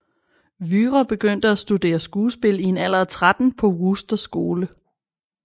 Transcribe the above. Wührer begyndte at studere skuespil i en alder af 13 på Wooster Skole